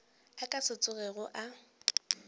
a ka se tsogego a